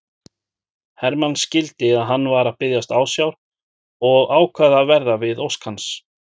Hermann skildi að hann var að biðjast ásjár og ákvað að verða við ósk hans.